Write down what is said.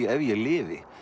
ef ég lifi